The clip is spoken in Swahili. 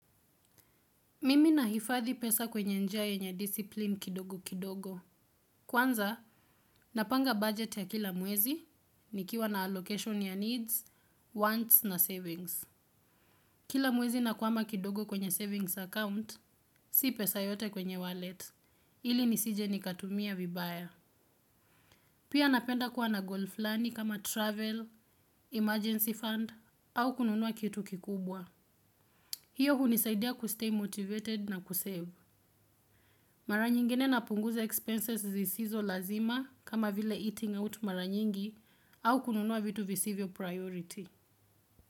Mimi nahifadhi pesa kwenye njia yenye discipline kidogo kidogo. Kwanza, napanga budget ya kila mwezi, nikiwa na allocation ya needs, wants na savings. Kila mwezi nakwama kidogo kwenye savings account, si pesa yote kwenye wallet, ili nisije nikatumia vibaya. Pia napenda kuwa na goal fulani kama travel, emergency fund, au kununua kitu kikubwa. Hiyo hunisaidia kustay motivated na kusave. Mara nyingine napunguza expenses zisizo lazima kama vile eating out mara nyingi au kununua vitu visivyo priority.